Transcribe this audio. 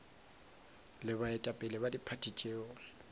le baetapele ba diphathi tšeo